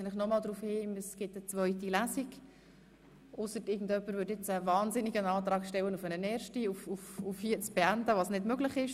Ich weise noch einmal darauf hin, dass es eine zweite Lesung gibt.